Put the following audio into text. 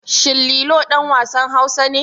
Shin Lilo ɗan wasan Hausa ne?